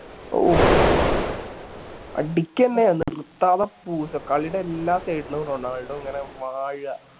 ഓഹ് അടിക്കന്നെ നിർത്താതെ പൂശുവാ കളിടെ എല്ലാ side ലും റൊണാൾഡോ ഇങ്ങനെ വാഴാ